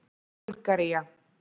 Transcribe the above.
Búlgaría